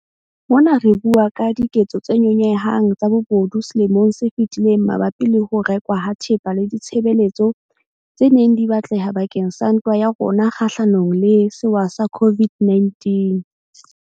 Mona re bua ka diketso tse nyonyehang tsa bobodu selemong se fetileng mabapi le ho rekwa ha thepa le ditshebeletso tse neng di batleha bakeng sa ntwa ya rona kgahlanong le sewa sa COVID-19.